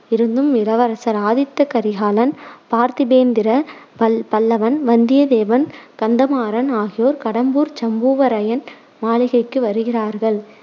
இருந்தும் இளவரசர் ஆதித்த கரிகாலன், பார்த்திபேந்திர பல்~ பல்லவன், வந்தியதேவன், கந்தமாறன் ஆகியோர் கடம்பூர் சம்பூவரையன் மாளிகைக்கு வருகிறார்கள்.